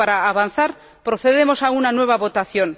avanzar, procedemos a una nueva votación.